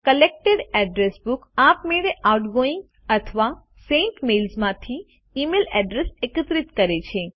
collected address book આપમેળે outgoing અથવા sent મેલ્સમાંથી ઇમેઇલ અડ્રેસ એકત્રિત કરે છે